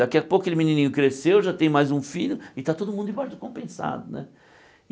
Daqui a pouco aquele menininho cresceu, já tem mais um filho e está todo mundo debaixo do compensado né.